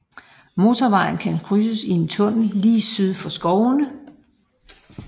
Motorvejen kan krydses i en tunnel lige syd for skovene